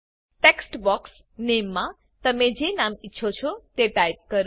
text box નામે મા તમે જે નામ ઈચ્છો તે ટાઇપ કરો